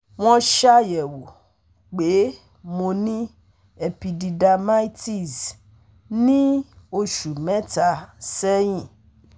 Wọ́n ṣàyẹ̀wò pé mo ní Epididymitis ní oṣù mẹ́ta sẹ́yìn